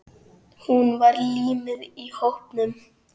Hún var límið í hópnum.